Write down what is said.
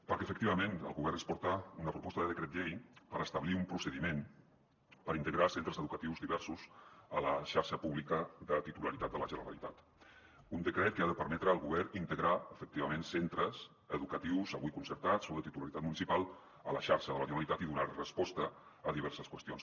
perquè efectivament el govern ens porta una proposta de decret llei per establir un procediment per integrar centres educatius diversos a la xarxa pública de titularitat de la generalitat un decret que ha de permetre al govern integrar efectivament centres educatius avui concertats o de titularitat municipal a la xarxa de la generalitat i donar resposta a diverses qüestions